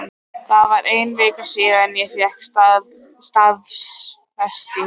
Það er ein vika síðan ég fékk staðfestingu.